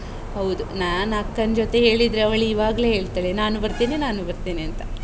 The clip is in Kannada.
ಹೌದು, ನಾನ್ ಅಕ್ಕನ್ ಜೊತೆ ಹೇಳಿದ್ರೆ, ಅವಳು ಇವಾಗ್ಲೇ ಹೇಳ್ತಾಳೆ, ನಾನೂ ಬರ್ತೇನೆ ನಾನೂ ಬರ್ತೇನೆ ಅಂತ. .